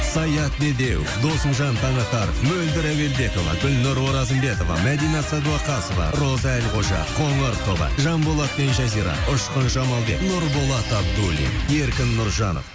саят медеуов досымжан таңатаров мөлдір әуелбекова гүлнұр оразымбетова мәдина садуақасова роза әлқожа қоңыр тобы жанболат пен жазира ұшқын жамалбек нұрболат абдуллин еркін нұржанов